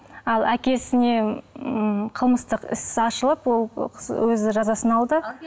ал әкесіне м қылмыстық іс ашылып ол кісі өзі жазасын алды